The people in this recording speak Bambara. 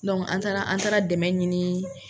an taara an taara dɛmɛ ɲini.